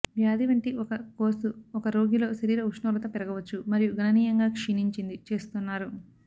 వ్యాధి వంటి ఒక కోర్సు ఒక రోగిలో శరీర ఉష్ణోగ్రత పెరగవచ్చు మరియు గణనీయంగా క్షీణించింది చేస్తున్నారు